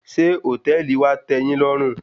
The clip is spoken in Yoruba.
Ṣé hòtẹ́ẹ̀lì wa tẹ́ẹ yín lọ́rùn?